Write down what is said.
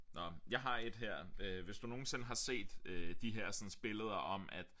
Nåh jeg har et her øh hvis du nogensinde har set øh de hersens billeder om at